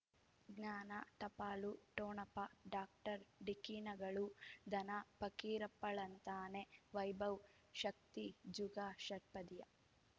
ಜ್ಞಾನ ಟಪಾಲು ಠೊಣಪ ಡಾಕ್ಟರ್ ಢಿಕ್ಕಿ ಣಗಳು ಧನ ಪಕೀರಪ್ಪ ಳಂತಾನೆ ವೈಭವ್ ಶಕ್ತಿ ಜುಗಾ ಷಟ್ಪದಿಯ